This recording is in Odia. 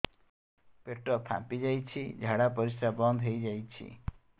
ପେଟ ଫାମ୍ପି ଯାଇଛି ଝାଡ଼ା ପରିସ୍ରା ବନ୍ଦ ହେଇଯାଇଛି